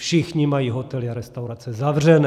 Všichni mají hotely a restaurace zavřené.